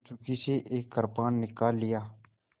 कंचुकी से एक कृपाण निकाल लिया